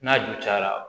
N'a ju cayara